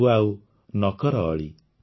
ତୁ ଆଉ ନ କର ଅଳି